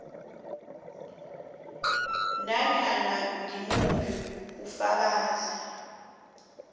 nanyana ngimuphi ufakazi